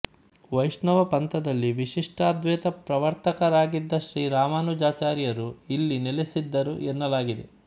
ವೈಷ್ಣವ ಪಂಥದಲ್ಲಿ ವಿಶಿಷ್ಟಾದ್ವೆತ ಪ್ರವರ್ತಕರಾಗಿದ್ದ ಶ್ರೀ ರಾಮಾನುಜಾಚಾರ್ಯರು ಇಲ್ಲಿ ನೆಲೆಸಿದ್ದರು ಎನ್ನಲಾಗಿದೆ